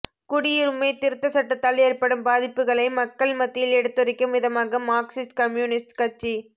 குடியுரிமை திருத்தச் சட்டத்தால் ஏற்படும் பாதிப்புகளை மக்கள் மத்தியில் எடுத்துரைக்கும் விதமாக மாா்க்சிஸ்ட் கம்யூனிஸ்ட் கட்சி